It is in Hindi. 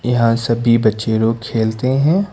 यहां सभी बच्चे लोग खेलते हैं।